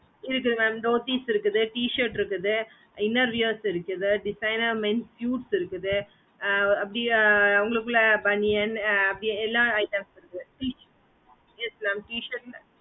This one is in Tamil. இது வந்து dhoties இருக்குது t shirt இருக்குது inner wears இருக்குது designer men suits இருக்குது ஆஹ் அப்புடியே உங்கள்குல banyan ஆஹ் எல்லா items இருக்கு